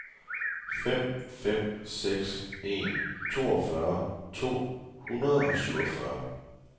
fem fem seks en toogfyrre to hundrede og syvogfyrre